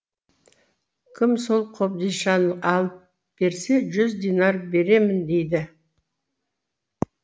кім сол қобдишаны алып берсе жүз динар беремін дейді